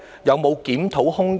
有否檢討空間？